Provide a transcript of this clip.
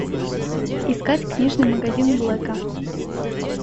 искать книжный магазин блэка